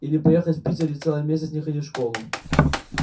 или поехать в питер и целый месяц не ходить в школу